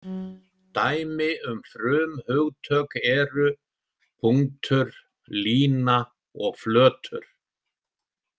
Dæmi um frumhugtök eru „punktur“, „lína“ og „flötur“.